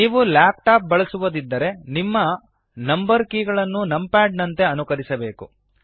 ನೀವು laptop ಬಳಸುವದಿದ್ದರೆ ನಿಮ್ಮ ನಂಬರ್ ಕೀ ಗಳನ್ನು ನಂಪ್ಯಾಡ್ ನಂತೆ ಅನುಕರಿಸಬೆಕು